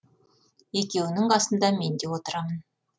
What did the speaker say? екеуінің қасында мен де отырамын